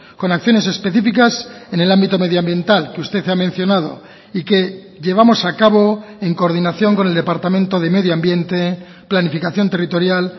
con acciones específicas en el ámbito medioambiental que usted ha mencionado y que llevamos a cabo en coordinación con el departamento de medio ambiente planificación territorial